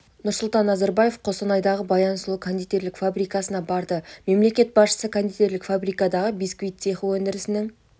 нұрсұлтан назарбаев қостанайдағы баян сұлу кондитерлік фабрикасына барды мемлекет басшысы кондитерлік фабрикадағы бисквит цехы өндірісінің